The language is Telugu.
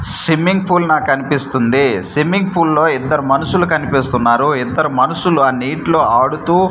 స్విమ్మింగ్ పూల్ నాకు కనిపిస్తుంది స్విమ్మింగ్ పూల్ లో ఇద్దరు మనుషులు కనిపిస్తున్నారు ఇద్దరు మనుషులు ఆ నీటిలో ఆడుతూ--